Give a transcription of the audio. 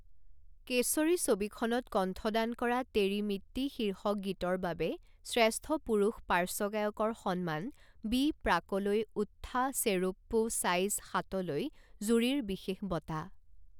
কেশৰী ছবিখনত কণ্ঠদান কৰা তেৰি মিট্টী শীৰ্ষক গীতৰ বাবে শ্ৰেষ্ঠ পুৰুষ পাৰ্শ্ব গায়কৰ সন্মান বি প্ৰাকলৈ ওথ্থা চেৰুপ্পু চাইজ সাত লৈ জুৰীৰ বিশেষ বঁটা